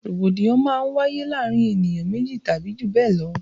Rògbòdìyàn máa ń wáyé láàrin ènìyàn méjì tàbí jù bẹ lọ